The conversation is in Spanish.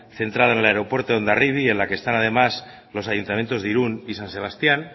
centrada en el aeropuerto de hondarribi y en la que están además los ayuntamientos de irun y san sebastián